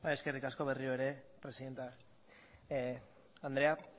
eskerrik asko berriro ere presidente andrea